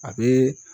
A bɛ